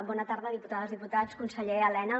bona tarda diputades diputats conseller elena